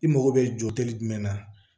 I mago bɛ jɔ teli jumɛn na